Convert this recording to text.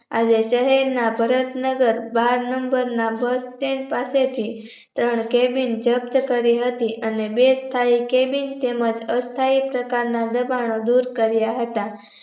આજે શહેરના ભારત નગર બાર નંબર ના bus stand પાસેથી ત્રણ cabin જપ્ત કરી હતી અને બે કે cabin અને અ સ્થાય પ્રકારના દબાણો દૂર કાર્ય હતા